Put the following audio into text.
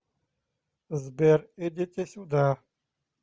сбер идите сюда